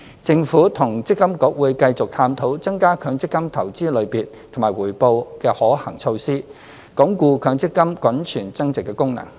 政府與積金局會繼續探討增加強積金投資類別及回報的可行措施，鞏固強積金滾存增值的功能。